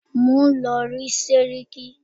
Mò ń lọ rí sẹ́ríkí.